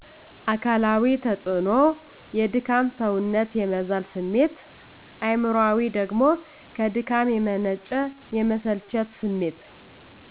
አካላዊ ተፅዕኖ የድካም ሰውነት የመዛል ስሜት አእምሮአዊ ደግሞ ከድካም የመነጨ የመሰለቸት ስሜት